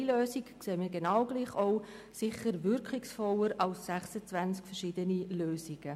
Eine Lösung ist sicher wirkungsvoller als 26 verschiedene Lösungen.